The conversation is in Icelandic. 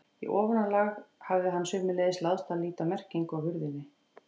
Í ofanálag hafði honum sömuleiðis láðst að líta á merkinguna á hurðinni.